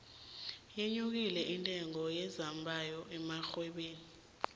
yenyukile intengo yezambayho emarhwebeni